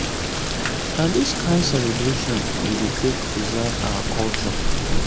na dis kain celebration we dey take preserve our culture.